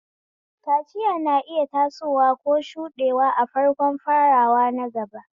Kaciya na iya tasowa ko shuɗewa a farkon farawa na gaba.